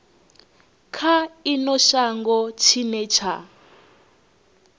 kha ino shango tshine tsha